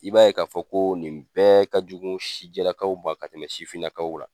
I b'a ye k'a fɔ ko nin bɛɛ ka jugu sijɛlakaw ma ka tɛmɛ sifinnakaw la.